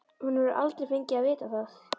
Hún hefur aldrei fengið að vita það.